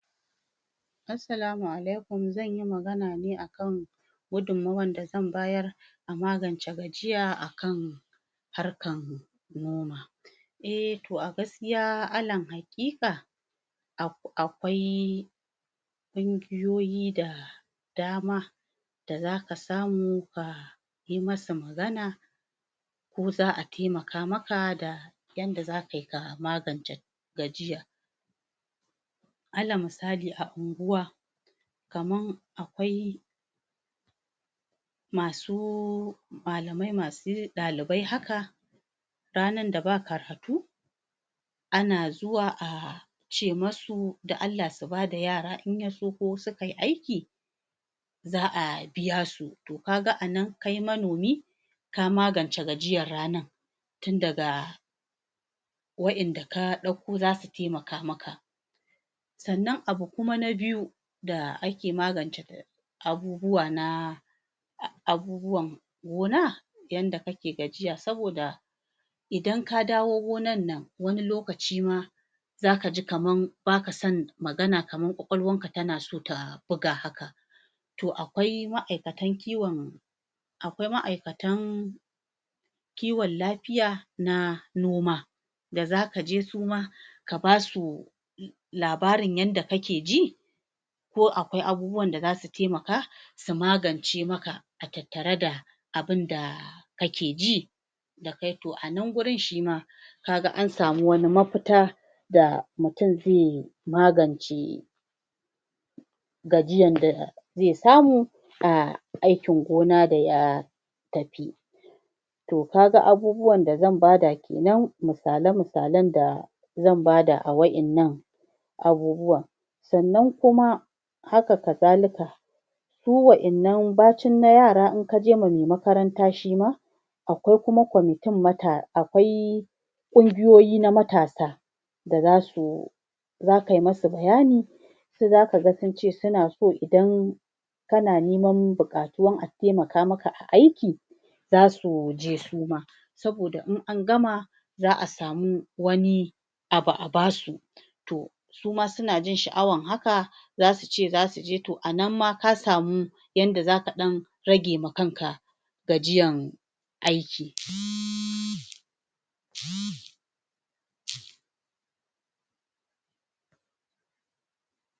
Assalamu alaikum zan yi magana ne a kan gudunmuwar da zan bayar a magance gajiya a kan harkan noma eh toh a gaskiya a nan hakika akwai kungiyoyi da dama da za ka samu ka yi masa magana ko za'a taimaka maka da yanda za ka yi ka magance gajiya ana misali a ungwa kamar akwai masu malamai masu dalibai haka rannan da bakaratu ana zuwa a ce masu dan Allah su ba da yara in ya so ko suka yi aiki za'a biya su toh ka ga a nan kai manomi ka magance gajiyan ranan tun daga wayanda ka dauko zasu taimaka maka sannan abu kuma na biyu da ake magance abubuwa na abubuwan gona yanda kake gajiya soboda idan ka dawo gonan nan wani lokaci ma zaka ji kaman ba ka son magana kaman kwakwaluwan ka ta na so ta buga haka toh akwai ma'aikatan kiwon akwai ma'aikata kiwonlafiya na noma da za ke je su ma ka ba su labarin yanda kake ji ko akwai abubuwan da zasu taimaka su magance maka a tattare da abin da kake ji da kai toh a nan gurin shi ma ka ga an samu wani mafita da mutum zai magance gajiyan da zai samu a aikin gona da ya tafi toh ka ga abubuwan da zan ba da kenan misale misalen da zan ba da a wayannan abubuwa sannan kuma haka kasalika su wayannan baci na yara inka jema mai makaranta shi ma akwai kuma committin mata akwai kungiyoyi na matasa da za su za ka yi masa bayani sai za ka ga sun ce suna son idan ka na neman bukatua taimaka maka a aiki zasuje su ma soboda in an gama za'a samu wani abu a basu toh suma su na jin sha'awan haka za su ce za su je toh anan ma kasamu yan da za ka dan ragge ma kan ka gajiyan aiki